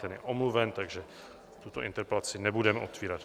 Ten je omluven, takže tuto interpelaci nebudeme otevírat.